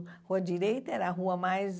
Rua Direita era a rua mais...